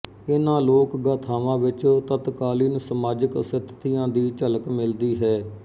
ਇਨ੍ਹਾਂ ਲੋਕ ਗਾਥਾਵਾਂ ਵਿਚ ਤਤਕਾਲੀਨ ਸਮਾਜਿਕ ਸਥਿਤੀਆਂ ਦੀ ਝਲਕ ਮਿਲਦੀ ਹੈ